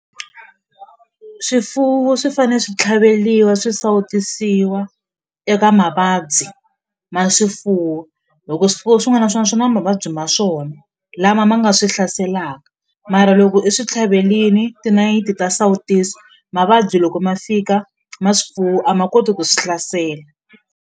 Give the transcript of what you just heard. Swifuwo swi fanele swi tlhaveliwa swi sawutisiwa eka mavabyi ma swifuwo hi ku swifuwo swin'wana na swin'wana swi na mavabyi ma swona lama ma nga swi hlaselaka mara loko i swi tlhavelini tinayiti ta sawutiso mavabyi loko ma fika ma swifuwo a ma koti ku swi hlasela.